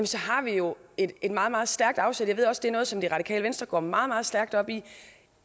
så har vi jo et meget meget stærkt afsæt jeg ved også at det er noget som det radikale venstre går meget meget stærkt op i